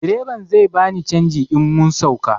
Direban zai bani canji in mun sauka